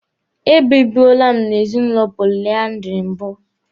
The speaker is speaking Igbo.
E bibuole m n'ezinụlọ polyandry mbụ.